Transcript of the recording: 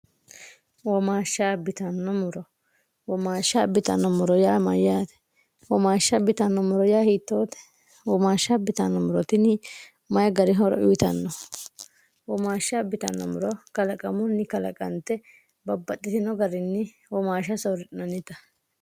wrowomaashsha bitannommoro yaa mayyaate woomaashsha bitannommoro yaa hiittoote woomaashsha bitanno mirotini mayi gari horo uyitanno womaashsha bitannomuro kalaqamunni kalaqante babbaxxitino garinni womaashsha soorri'nonita